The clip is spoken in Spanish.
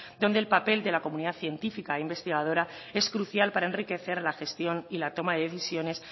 donde el papel de la comunidad científica e investigadora es crucial para enriquecer la gestión y la toma de decisiones